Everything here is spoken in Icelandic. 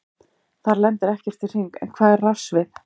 Þar lendir ekkert í hring, en hvað er rafsvið?